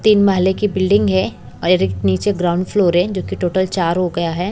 तीन माहले की बिल्डिंग है और एक नीचे ग्राउंड फ्लोर है जो कि टोटल चार हो गया है।